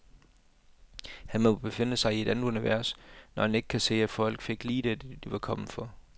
Han må befinde sig i et andet univers, når han ikke kan se, at folk fik lige dét, de var kommet for.